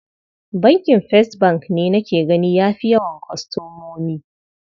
Bankin First bank ne nake gani ya fi yawan kwastomomi.